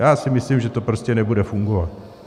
Já si myslím, že to prostě nebude fungovat.